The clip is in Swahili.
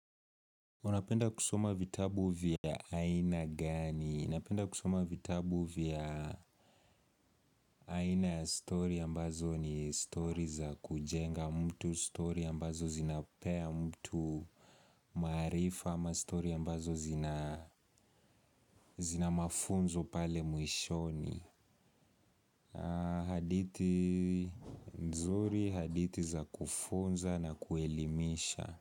Unapenda kusoma vitabu vya aina gani? Unapenda kusoma vitabu vya aina ya story ya mbazo ni story za kujenga mtu, story ya mbazo zinapea mtu marifa ama story ya mbazo zina mafunzo pale mwishoni. Haditi, nzuri haditi za kufunza na kuelimisha.